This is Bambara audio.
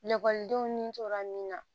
Lakɔlidenw ni tora min na